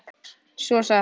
Svo sagði hann